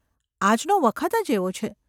‘આજનો વખત જ એવો છે.